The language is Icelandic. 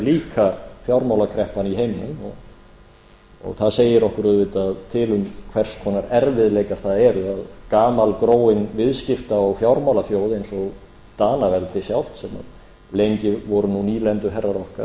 líka fjármálakreppan í heiminum og það segir okkur auðvitað til um hvers konar erfiðleikar það eru að gamalgróin viðskipta og fjármálaþjóð eins og danaveldi sjálft sem lengi voru nú nýlenduherrar okkar